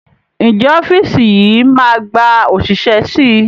Ǹjẹ́ ọ́fíìsì yìí máa gba òṣìṣẹ́ síi?